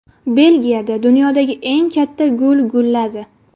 Belgiyada dunyodagi eng katta gul gulladi .